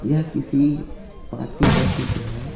यह किसी पार्टी का चित्र हैं.